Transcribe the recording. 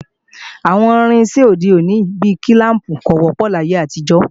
Àwọn irinṣẹ́ ti òde òní bí kílàmpù ò wọ́pọ̀ láyé àtijọ́